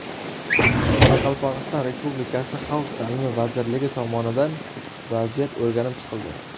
Qoraqalpog‘iston Respublikasi Xalq ta’limi vazirligi tomonidan vaziyat o‘rganib chiqildi .